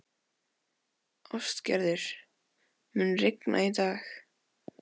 Ástgerður, mun rigna í dag?